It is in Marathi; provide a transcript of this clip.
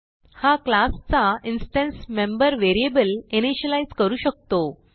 हा क्लासचा इन्स्टन्स मेंबर व्हेरिएबल इनिशियलाईज करू शकतो